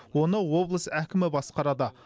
оны облыс әкімі басқарады